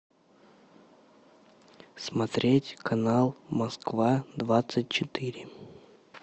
смотреть канал москва двадцать четыре